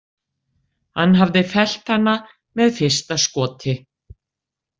Hann hafði fellt hana með fyrsta skoti.